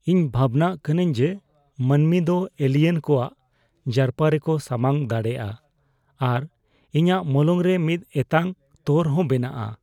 ᱤᱧ ᱵᱷᱟᱵᱱᱟᱜ ᱠᱟᱹᱱᱟᱹᱧ ᱡᱮ ᱢᱟᱹᱱᱢᱤ ᱫᱚ ᱮᱞᱤᱭᱮᱱ ᱮᱞᱤᱭᱮᱱ ᱠᱚᱣᱟᱜ ᱡᱟᱨᱯᱟ ᱡᱟᱨᱯᱟ ᱨᱮᱠᱚ ᱥᱟᱢᱟᱝ ᱫᱟᱲᱮᱭᱟᱜᱼᱟ ᱟᱨ ᱤᱧᱟᱹᱜ ᱢᱚᱞᱚᱝᱨᱮ ᱢᱤᱫ ᱮᱛᱟᱝ ᱛᱚᱨ ᱦᱚᱸ ᱵᱮᱱᱟᱜᱼᱟ ᱾